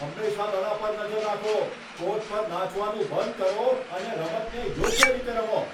હંમેશા દડા પર નજર રાખો. કોર્ટ પર નાચવાનું બંધ કરો અને રમતને યોગ્ય રીતે રમો.